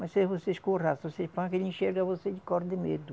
Mas se você escorraça, você panca, ele enxerga você ele corre de medo.